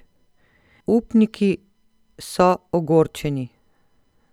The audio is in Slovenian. Upniki so ogorčeni.